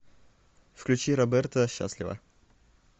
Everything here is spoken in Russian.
включи роберто счастлива